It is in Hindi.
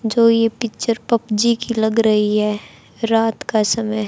जो ये पिक्चर पबजी की लग रही है रात का समय--